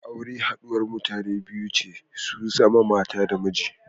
Aure haɗuwar mutane biyu ce su zama mata da miji.